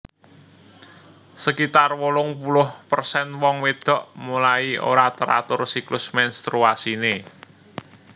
Sekitar wolung puluh persen wong wedok mulai ora teratur siklus menstruasine